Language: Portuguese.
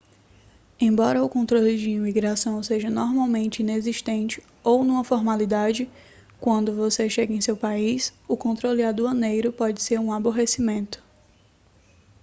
embora o controle de imigração seja normalmente inexistente ou uma formalidade quando você chega em seu país o controle aduaneiro pode ser um aborrecimento